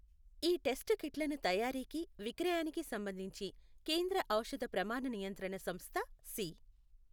ఈ టెస్టు కిట్లను తయారీకి, విక్రయానికి సంబంధించి కేంద్ర ఔషథ ప్రమాణ నియంత్రణ సంస్థ సి.